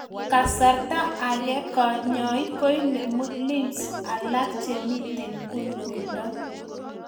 Kasarta agee kanyaik koinemuu lymphs alaak chemitee kulkuldo